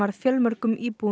fjölmörgum íbúum